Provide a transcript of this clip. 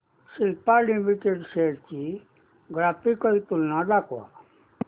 Cipla limited shares ची graphical तुलना दाखव